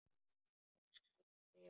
Hún skal skrifa!